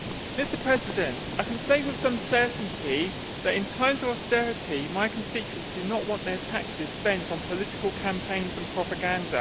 Mr President, I can say with some certainty that, in times of austerity, my constituents do not want their taxes spent on political campaigns and propaganda.